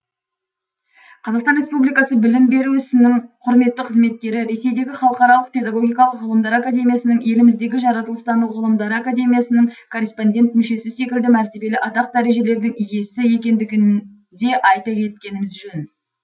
қр білім беру ісінің құрметті қызметкері ресейдегі халықаралық педагогикалық ғылымдар академиясының еліміздегі жаратылыстану ғылымдары академиясының корреспондент мүшесі секілді мәртебелі атақ дәрежелердің иесі екендігін де айта кеткеніміз жөн